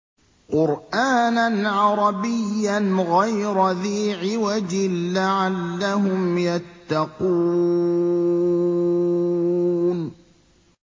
قُرْآنًا عَرَبِيًّا غَيْرَ ذِي عِوَجٍ لَّعَلَّهُمْ يَتَّقُونَ